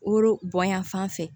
Woro bonya fan fɛ